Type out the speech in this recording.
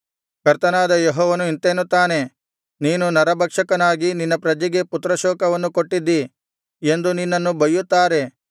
ಕರ್ತನಾದ ಯೆಹೋವನು ಇಂತೆನ್ನುತ್ತಾನೆ ನೀನು ನರಭಕ್ಷಕನಾಗಿ ನಿನ್ನ ಪ್ರಜೆಗೆ ಪುತ್ರಶೋಕವನ್ನು ಕೊಟ್ಟಿದ್ದೀ ಎಂದು ನಿನ್ನನ್ನು ಬಯ್ಯುತ್ತಾರೆ